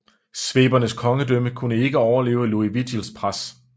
Svebernes kongedømme kunne ikke overleve Liuvigilds pres